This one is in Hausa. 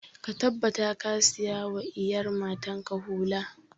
Ka tabbata ka saya wa iyar matan ka hula!